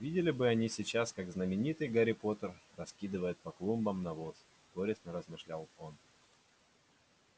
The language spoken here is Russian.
видели бы они сейчас как знаменитый гарри поттер раскидывает по клумбам навоз горестно размышлял он